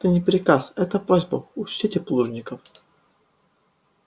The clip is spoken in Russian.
это не приказ это просьба учтите плужников